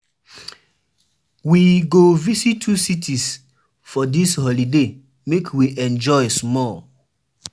We go visit two cities for dis holiday make we enjoy small.